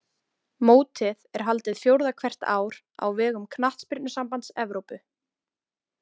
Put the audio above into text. Mótið er haldið fjórða hvert ár á vegum Knattspyrnusambands Evrópu.